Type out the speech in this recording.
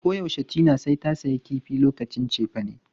Koyaushe Tina sai ta sayi kifi lokacin cefane.